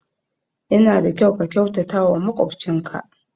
Ya na da kyau ka kyautata wa makwabcin ka